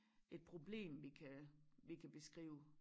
Et problem vi kan vi kan beskrive